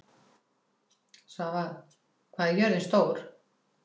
Svava, hvað er jörðin stór?